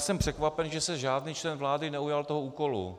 Jsem překvapen, že se žádný člen vlády neujal toho úkolu.